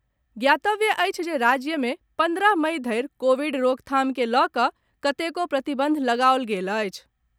ज्ञातव्य अछि जे राज्य मे पन्द्रह मई धरि कोविड रोकथाम के लऽ कऽ कतेको प्रतिबंध लगाओल गेल अछि।